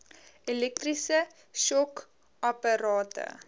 elektriese shock apparate